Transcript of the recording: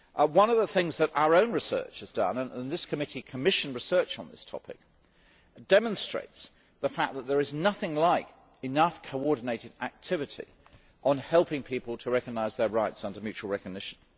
One of the things that our own research has done, and this committee commissioned research on this topic, is to demonstrate the fact that there is nothing like enough coordinated activity on helping people to recognise their rights under mutual recognition.